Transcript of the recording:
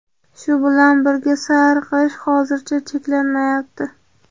Shu bilan birga sayr qilish hozircha cheklanmayapti.